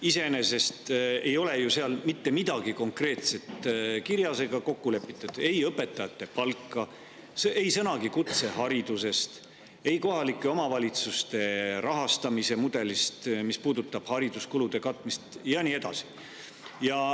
Iseenesest ei ole seal mitte midagi konkreetset kirjas ega kokku lepitud, ei õpetajate palka, ei ole sõnagi kutseharidusest ega kohalike omavalitsuste rahastamise mudelist, mis puudutab hariduskulude katmist, ja nii edasi.